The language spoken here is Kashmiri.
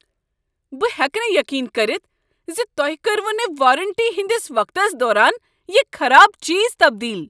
بہٕ ہیٚکہٕ نہٕ یقین کٔرتھ ز تۄہہ کوٚروٕ نہٕ وارنٹی ہٕنٛدس وقتس دوران یہ خراب چیز تبدیل۔